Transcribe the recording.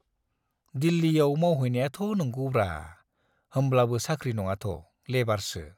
दिल्लीयाव मावहैनायाथ' नंगौब्रा, होमब्लाबो साख्रि नङाथ', लेबारसो।